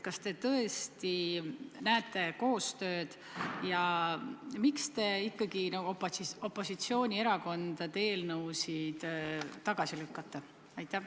Kas te tõesti näete koostööd ja miks te ikkagi opositsioonierakondade eelnõusid tagasi lükkate?